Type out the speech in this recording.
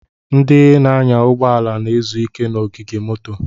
Ndị na-anya ụgbọ ala na-ezu ike n'ogige moto.